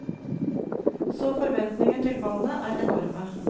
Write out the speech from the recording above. Så forventningene til bandet er enorme.